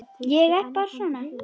Ég er bara svona.